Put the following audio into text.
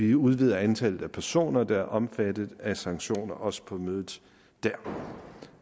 vi udvider antallet af personer der er omfattet af sanktioner også på mødet der